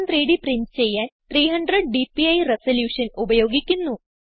gchem3ഡ് പ്രിന്റ് ചെയ്യാൻ 300 DPI resolution ഉപയോഗിക്കുന്നു